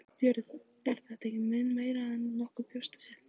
Björn: Er það ekki mun meira en nokkur bjóst við?